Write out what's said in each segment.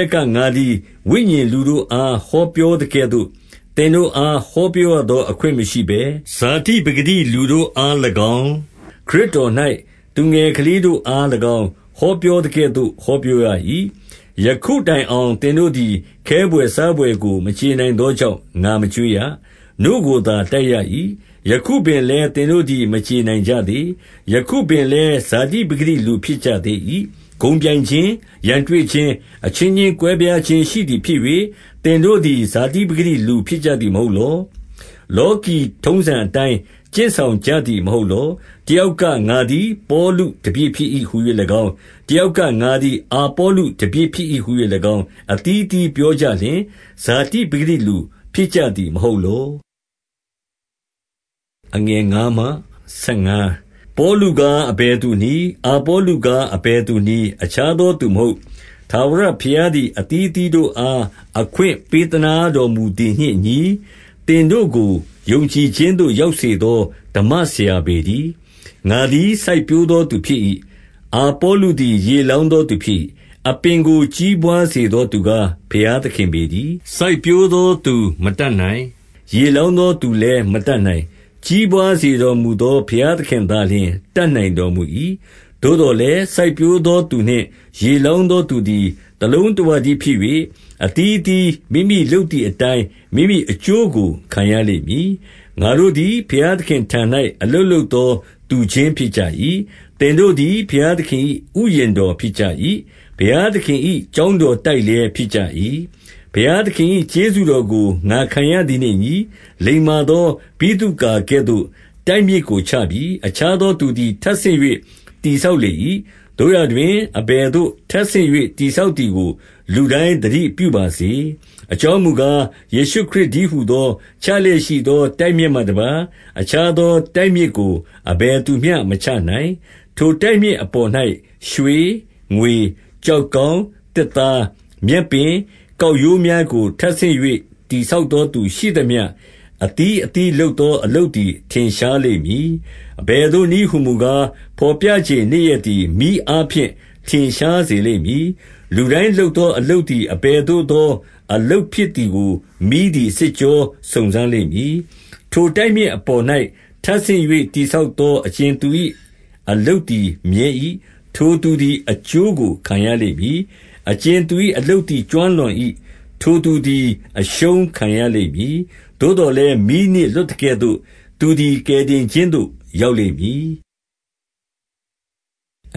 က်က ငါသည် ဝိညာဉ်လူတို့အား ဟောပြောသကဲ့သို့ သင်တို့အား ဟောပြော ရသော အခွင့်မရှိဘဲ၊ ဇာတိပကတိ လူတို့အား၎င်း၊ ခရစ်တော်၌ သူငယ်ကလေးတို့အား၎င်း၊ ဟောပြောသကဲ့ သို့ ဟောပြောရ၏။ 2 ယခုတိုင်အောင်သင်တို့သည် ခဲဘွယ်စားဘွယ်ကို မကြေနိုင်သောကြောင့် ငါမကျွေးရ၊ နို့ကိုသာ တိုက် ရ၏။ ယခုပင်လည်း၊ သင်တို့သည် မကြေနိုင်ကြသေး။ 3 ယခုပင်လည်း၊ ဇာတိပကတိလူဖြစ်ကြသေး၏။ ဂုဏ်ပြိုင်ခြင်း၊ ရန်တွေ့ခြင်း၊ အချင်းချင်းကွဲပြားခြင်း ရှိသည်ဖြစ်၍၊ သင်တို့သည်ဇာတိပကတိ လူဖြစ်ကြသည် မဟုတ်လော။ လောကီထုံးစံအတိုင်း ကျင့်ဆောင်ကြသည် မဟုတ်လော။ 4 တယောက်က၊ ငါသည်ပေါလုတပည့်ဖြစ်၏ ဟူ၍၎င်း၊ တယောက်က၊ ငါသည်အာပေါလုတပည့်ဖြစ်၏ ဟူ၍၎င်း၊ အသီးသီးပြောကြလျှင်၊ ဇာတိပကတိလူဖြစ်ကြသည်မဟုတ်လော။ 5 ပေါလုကားအဘယ်သူနည်း။ အာပေါလုကား အဘယ်သူနည်း။ အခြားသောသူမဟုတ်၊ ထာဝရဘုရား သည် အသီးသီးတို့အား အခွင့်ပေးသနားတော်မူသည်နှင့် အညီ၊ သင်တို့ကို ယုံကြည်ခြင်းသို့ ရောက်စေသော ဓမ္မဆရာပေတည်း။ 6 ငါသည်စိုက်ပျိုးသောသူဖြစ်၏။ အာပေါလုသည် ရေလောင်းသော သူဖြစ်၏။ အပင်ကိုကြီးပွါးစေသော သူကား၊ ဘုရားသခင်ပေတည်း။ 7 စိုက်ပျိုးသောသူမတတ်နိုင်။ ရေလောင်းသော သူလည်း မတတ်နိုင်။ ကြီးပွါးစေတော်မူသော ဘုရား သခင်သာလျှင် တတ်နိုင်တော်မူ၏။ 8 သို့သော်လည်း၊ စိုက်ပျိုးသောသူနှင့် ရေလောင်း သောသူသည် တလုံးတဝတည်းဖြစ်၍၊ အသီးအသီး မိမိ လုပ်သည်အတိုင်း မိမိအကျိုးကို ခံရလိမ့်မည်။ 9 ငါတို့သည် ဘုရားသခင့်ထံ၌ အလုပ်လုပ်သော သူချင်းဖြစ်ကြ၏။ သင်တို့သည် ဘုရားသခင်၏ ဥယျာဉ် တော်ဖြစ်ကြ၏။ ဘုရားသခင်၏ ကျောင်းတော်တိုက်လည်း ဖြစ်ကြ၏။ 10 ဘုရားသခင်၏ကျေးဇူးတော်ကို ငါခံရသည်နှင့် အညီ၊ လိမ္မာသော ဗိသုကာကဲ့သို့ တိုက်မြစ်ကိုချပြီ။ အခြားသောသူသည် ထပ်ဆင့်၍ တည်ဆောက်လေ၏။ သို့ရာတွင်၊ အဘယ်သို့ ထပ်ဆင့်၍ တည်ဆောက်သည်ကို လူတိုင်းသတိပြုပါစေ။ 11 အကြောင်းမူကား၊ ယေရှုခရစ်တည်းဟူသော၊ ချလျက်ရှိသော တိုက်မြစ်မှတပါး အခြားသော တိုက်မြစ်ကို အဘယ်သူမျှ မချနိုင်။ 12 ထိုတိုက်မြစ်အပေါ်၌ ရွှေ၊ ငွေ၊ ကျောက်ကောင်း၊ သစ်သား၊ မြက်ပင်၊ ကောက်ရိုးများကို ထပ်ဆင့်၍ တည်ဆောက်သောသူရှိသမျှ၊ 13 အသီးသီးလုပ်သော အလုပ်သည် ထင်ရှားလိမ့်မည်။ အဘယ်သို့နည်းဟူမူကား၊ ဘော်ပြချိန် နေ့ရက် သည် မီးအားဖြင့် ထင်ရှားစေလိမ့်မည်။ လူတိုင်းလုပ်သောအလုပ်သည် အဘယ်သို့သော အလုပ်ဖြစ်သည်ကို မီးသည်စစ်ကြောစုံစမ်းလိမ့်မည်။ 14 ထိုတိုက်မြစ်အပေါ်၌ ထပ်ဆင့်၍ တည်ဆောက်သော အကြင်သူ၏ အလုပ်သည်မြဲ၏။ ထိုသူသည် အကျိုးကို ခံရလိမ့်မည်။ 15 အကြင်သူ၏အလုပ်သည် ကျွမ်းလောင်၏၊ ထိုသူ သည် အရှုံးခံရလိမ့်မည်။ သို့သော်လည်း၊ မီးနှင့်လွတ် သကဲ့သို့ သူသည် ကယ်တင်ခြင်းသို့ ရောက်လိမ့်မည်။ 16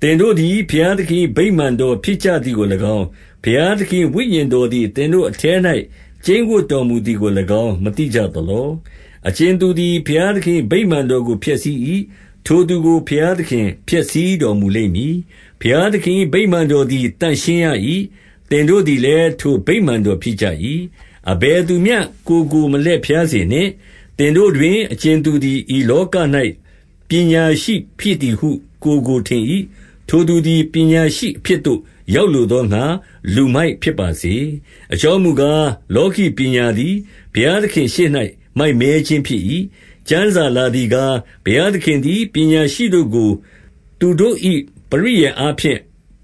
သင်တို့သည် ဘုရားသခင်၏ ဗိမာန်တော် ဖြစ်ကြသည်ကို၎င်း၊ ဘုရားသခင်၏ဝိညာဉ်တော်သည် သင်တို့အထဲ၌ ကျိန်းဝပ်တော်မူသည်ကို၎င်း မသိကြသလော။ 17 အကြင်သူသည် ဘုရားသခင်၏ ဗိမာန်တော်ကို ဖျက်ဆီး၏။ ထိုသူကို ဘုရားသခင်ဖျက်ဆီးတော်မူလိမ့် မည်။ ဘုရားသခင်၏ ဗိမာန်တော်သည် သန့်ရှင်းရ၏။ သင်တို့သည်လည်း၊ ထိုဗိမာန်တော် ဖြစ်ကြ၏။ 18 အဘယ်သူမျှ ကိုယ်ကို မလှည့်ဖြားစေနှင့်။ သင်တို့တွင် အကြင်သူသည် ဤလောက၌ ပညာရှိဖြစ် သည်ဟု ကိုယ်ကိုထင်၏။ ထိုသူသည်ပညာရှိ အဖြစ်သို့ ရောက်လိုသောငှါ လူမိုက်ဖြစ်ပါစေ။ 19 အကြောင်းမူကား၊ လောကီပညာသည် ဘုရားသခင့်ရှေ့၌ မိုက်မဲခြင်းဖြစ်၏။ ကျမ်းစာလာသည်ကား၊ ဘုရားသခင်သည် ပညာရှိတို့ကို သူတို့၏ ပရိယာယ်အားဖြင့်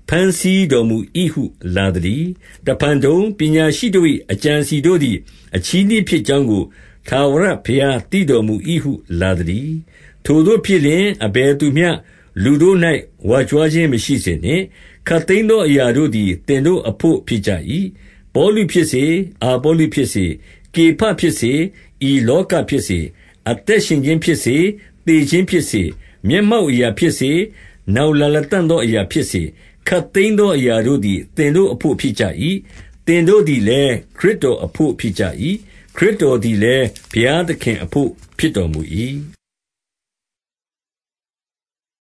ဘမ်းဆီးတော်မူ၏ဟု လာသတည်း။ 20 တဖန်တုံ၊ ပညာရှိတို့၏ အကြံအစည်တို့သည် အချည်းနှီးဖြစ်ကြောင်းကို ထာဝရဘုရားသိတော်မူ၏ဟု လာသတည်း။ 21 ထိုသို့ဖြစ်လျှင်၊ အဘယ်သူမျှလူတို့၌ ဝါကြွား ခြင်းမရှိစေနှင့်။ ခပ်သိမ်းသောအရာတို့သည် သင်တို့ အဘို့ဖြစ်ကြ၏။ 22 ပေါလုဖြစ်စေ၊ အာပေါလုဖြစ်စေ၊ ကေဖဖြစ်စေ၊ ဤလောကဖြစ်စေ၊ အသက်ရှင်ခြင်းဖြစ်စေ၊ သေခြင်း ဖြစ်စေ၊ မျက်မှောက်အရာဖြစ်စေ၊ နောက်လာလတံ့သော အရာဖြစ်စေ၊ ခပ်သိမ်းသော အရာတို့သည် သင်တို့အဘို့ ဖြစ်ကြ၏။ 23 သင်တို့သည်လည်း၊ ခရစ်တော်အဘို့ဖြစ်ကြ၏။ ခရစ်တော် သည်လည်း ဘုရားသခင်အဘို့ ဖြစ်တော်မူ၏။